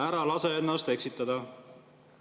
Ära lase ennast eksitada.